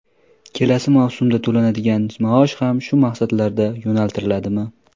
Kelasi mavsumda to‘lanadigan maosh ham shu maqsadlarga yo‘naltiriladimi?